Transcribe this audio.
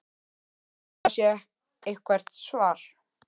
Heldurðu að það sé eitthvert svar?